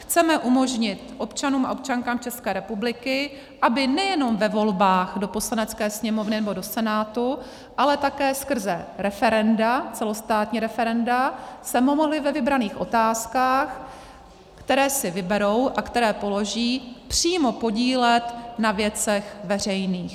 Chceme umožnit občanům a občankám České republiky, aby nejenom ve volbách do Poslanecké sněmovny nebo do Senátu, ale také skrze referenda, celostátní referenda, se mohli ve vybraných otázkách, které si vyberou a které položí, přímo podílet na věcech veřejných.